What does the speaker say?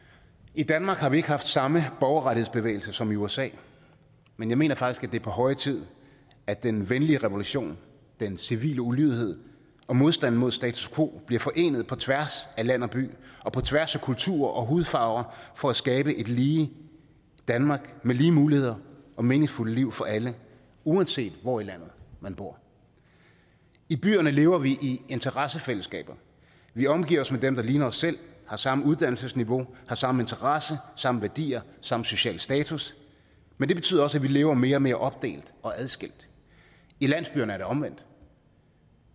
i danmark har vi ikke haft samme borgerrettighedsbevægelse som i usa men jeg mener faktisk at det er på høje tid at den venlige revolution den civile ulydighed og modstanden mod status quo bliver forenet på tværs af land og by og på tværs af kulturer og hudfarver for at skabe et lige danmark med lige muligheder og meningsfulde liv for alle uanset hvor i landet man bor i byerne lever vi i interessefællesskaber vi omgiver os med dem der ligner os selv har samme uddannelsesniveau har samme interesser samme værdier samme sociale status men det betyder også at vi lever mere og mere opdelt og adskilt i landsbyerne er det omvendt